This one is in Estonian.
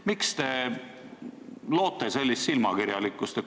Miks te loote sellist silmakirjalikkust?